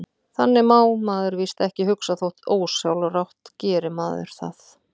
Þannig má maður víst ekki hugsa, þótt ósjálfrátt geri maður það.